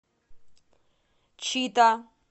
чита